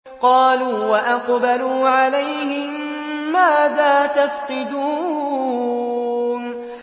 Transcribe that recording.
قَالُوا وَأَقْبَلُوا عَلَيْهِم مَّاذَا تَفْقِدُونَ